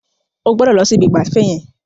Ó gbọdọ̀ lọ si ibi ìgbafẹ́ yẹn.